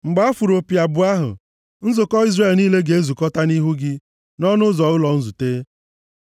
Mgbe a fụrụ opi abụọ ahụ, nzukọ Izrel niile ga-ezukọta nʼihu gị nʼọnụ ụzọ ụlọ nzute.